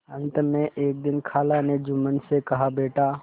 अंत में एक दिन खाला ने जुम्मन से कहाबेटा